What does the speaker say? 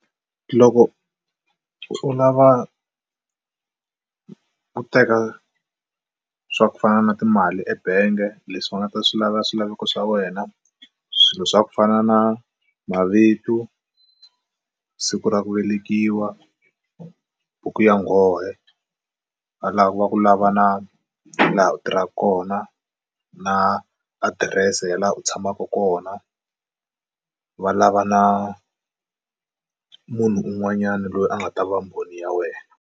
Loko u lava ku teka swa ku fana na timali ebangi leswi va nga ta swi lava swilaveko swa wena swilo swa ku fana na mavito, siku ra ku velekiwa, buku ya nghohe a lava ku va ku lava na laha u tirhaka kona na adirese ya laha u tshamaka kona va lava na munhu un'wanyani loyi a nga ta va mbhoni ya wena.